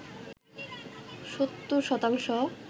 ৭০ শতাংশ